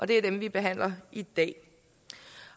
det er dem vi behandler i dag